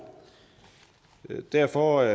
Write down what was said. derfor